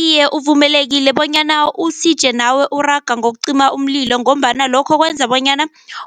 Iye, uvumelekile bonyana usije nawe uraga ngokucima umlilo ngombana lokho kwenza bonyana